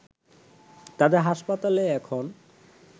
তাদের হাসপাতালে এখন